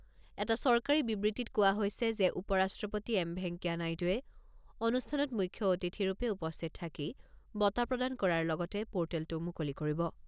এটা চৰকাৰী বিবৃতিত কোৱা হৈছে যে উপ ৰাষ্ট্ৰপতি এম ভেংকায়া নাইডুৱে অনুষ্ঠানত মুখ্য অতিথিৰূপে উপস্থিত থাকি বঁটা প্ৰদান কৰাৰ লগতে পৰ্টেলটো মুকলি কৰিব।